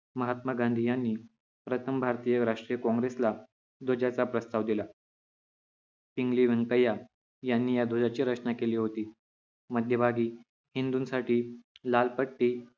महात्मा गांधी यांनी प्रथम भारतीय राष्ट्रीय काँग्रेसला ध्वजाचा प्रस्ताव दिला पिंगली वैंकय्या यांनी या ध्वजाची रचना केली होती मध्यभागी हिंदूंसाठी लाल पट्टी